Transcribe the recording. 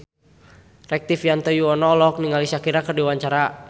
Rektivianto Yoewono olohok ningali Shakira keur diwawancara